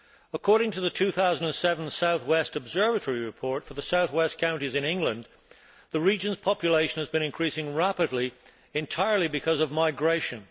According to the 2007 South West Observatory Report for the south western counties in England, the region's population has been increasing rapidly, entirely because of migration.